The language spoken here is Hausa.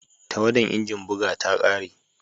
Tawadan injin buga ta kare